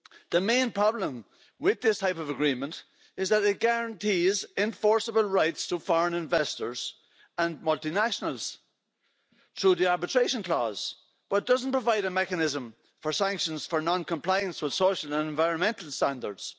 The main problem with this type of agreement is that it guarantees enforceable rights to foreign investors and multinationals through the arbitration clause but doesn't provide a mechanism for sanctions for noncompliance with social and environmental standards.